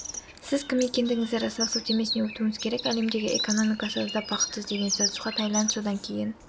сіз кім екендігіңізді растау сілтемесіне өтуіңіз керек әлемдегі экономикасы аздап бақытсыз деген статусқа таиланд содан кейін